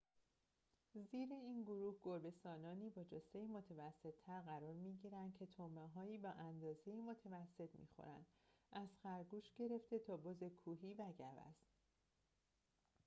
زیر این گروه گربه‌سانانی با جثه متوسط‌تر قرار می‌گیرند که طعمه‌‌هایی با اندازه متوسط می‌خورند از خرگوش گرفته تا بز کوهی و گوزن